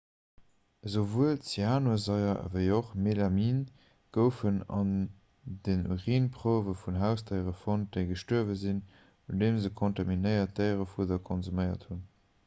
esouwuel zyanursaier ewéi och melamin goufen an den urinprouwe vun hausdéiere fonnt déi gestuerwe sinn nodeem se kontaminéiert déierefudder konsuméiert hunn